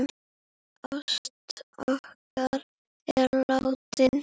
Ásta okkar er látin.